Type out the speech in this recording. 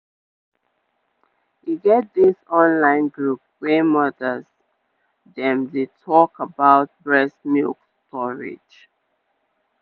e get dis online group wey mothers dem dey talk about breast milk storage